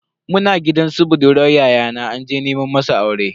Muna gidan su budurwan yayana anje nema masa aurenta.